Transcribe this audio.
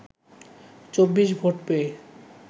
২৪ vote পেয়ে